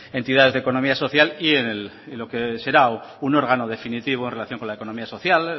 entidades de la economía social y en lo que será un órgano definitivo en relación con la economía social